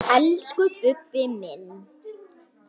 Elsku Bubbi minn.